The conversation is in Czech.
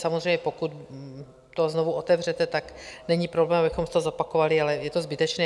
Samozřejmě pokud to znovu otevřete, tak není problém, abychom to zopakovali, ale je to zbytečné.